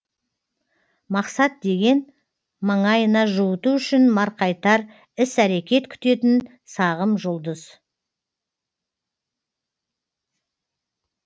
мақсат деген маңайына жуыту үшін марқайтар іс әрекет күтетін сағым жұлдыз